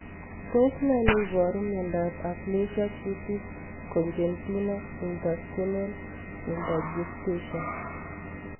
Tos ne neiparu miondop Aplasia cutis congenita intestinal lymphangiectasia?